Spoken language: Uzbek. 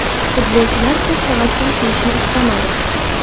Futbolchilar ko‘p tavakkal qilishni istamadi.